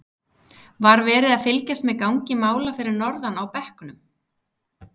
Var verið að fylgjast með gangi mála fyrir norðan á bekknum?